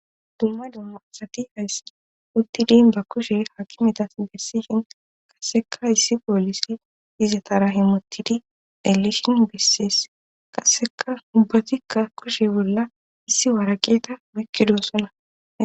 dumma dumma asati hayssi uttidin ba kushe haakimetas bessihin qaseka issi poolise izatarahe mutidi elishin bessees qasseka ubbatikka kushe bolla issi waaraqeeta bekkido sona